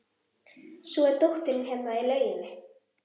Svo er dóttirin hérna í lauginni.